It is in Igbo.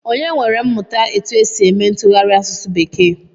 Onye nwere mmụta etu e si eme ntụgharị asụsụ bekee?